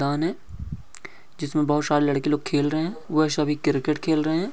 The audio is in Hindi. जिसमे बहोत शारे लड़के लोग खेलरहे है वो सभी क्रिकेट खेल रहे ह।